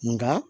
Nka